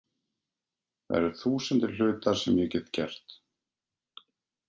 Það eru þúsundir hluta sem ég get gert.